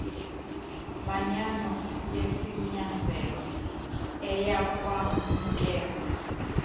manyano yesinyanzelo eyakwamkelwa